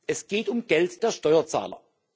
Es geht um Geld der Steuerzahler.